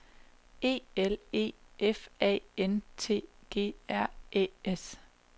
E L E F A N T G R Æ S